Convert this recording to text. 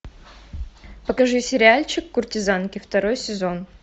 покажи сериальчик куртизанки второй сезон